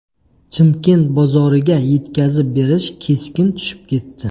Chimkent bozoriga yetkazib berish keskin tushib ketdi.